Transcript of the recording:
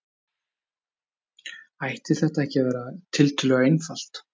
Ætti þetta ekki að vera tiltölulega einfalt?